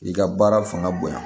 I ka baara fanga bonya